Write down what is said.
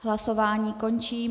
Hlasování končím.